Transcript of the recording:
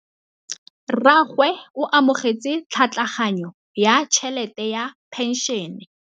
Rragwe o amogetse tlhatlhaganyô ya tšhelête ya phenšene.